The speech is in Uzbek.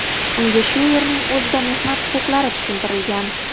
Unga shu yerning o‘zida mehnat huquqlari tushuntirilgan.